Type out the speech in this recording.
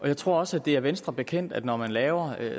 jeg tror også det er venstre bekendt at når man laver